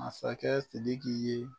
Masakɛ Sidiki ye